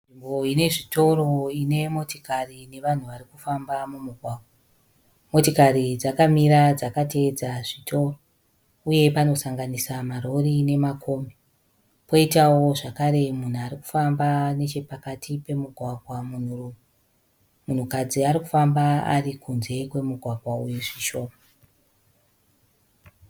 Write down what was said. Nzvimbo inezvitoro ine motokari nevanhu varikufamba mumugwagwa. Motikari dzakamira dzakatevedza zvitoro. Uye panosanganisa marori nemakombi. Poitawo zvakare mumhu arikufamba nechepakati pemugwagwa munhurume. Munhukadzi arikufamba ari kunze kwemugwagwa uyu zvishoma.